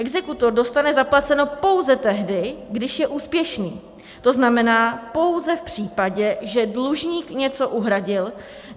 Exekutor dostane zaplaceno pouze tehdy, když je úspěšný, to znamená pouze v případě, že dlužník něco uhradil.